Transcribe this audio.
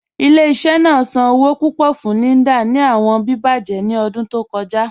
Ile-iṣẹ naa san owo pupọ fun Linda ni awọn bíbẹ̀jẹ̀ ni ọdun tó kọja.